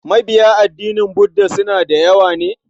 Mabiya addinin Budda suna da yawa ne?